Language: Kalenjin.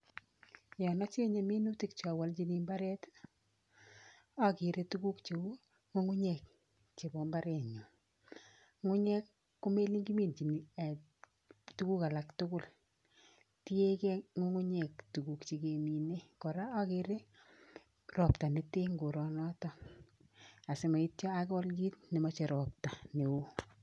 Yoon ojenge minutik jeominjini ibaret ii, okere tukuk jeu, ngungunyeek jebo imbarenyuun ngungunyeek komelen kiminjin tukuk alatukul tiekee ngungunyeek tukuk chegemine kora ogere ropta neten koronoton osimoityo agool kiit nemoje ropta neo